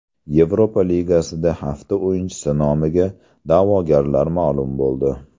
Yevropa Ligasida hafta o‘yinchisi nomiga da’vogarlar ma’lum bo‘ldi.